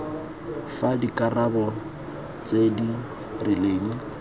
fa dikarolo tse di rileng